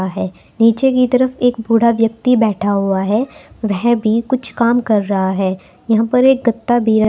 रहा है नीचे की तरफ एक बूढ़ा व्यक्ति बैठा हुआ है वह भी कुछ काम कर रहा है यहां पर एक गत्ता भी--